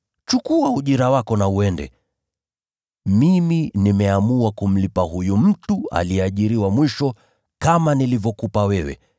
Chukua ujira wako na uende. Mimi nimeamua kumlipa huyu mtu aliyeajiriwa mwisho kama nilivyokupa wewe.